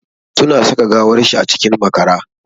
Suna saka gawar shi a cikin makara.